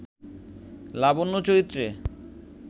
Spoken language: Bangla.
লাবণ্য চরিত্রে